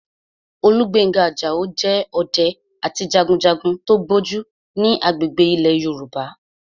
Olúgbénga Àjàó jẹ́ ọdẹ àti jagunjagun tó gbójú ní agbègbè ilẹ̀ Yorùbá